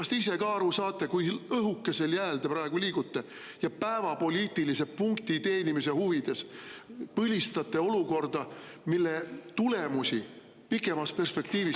Kas te ise ka aru saate, kui õhukesel jääl te praegu liigute ja päevapoliitilise punkti teenimise huvides põlistate olukorda, mille tulemusi pikemas perspektiivis …